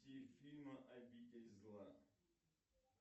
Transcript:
фильм обитель зла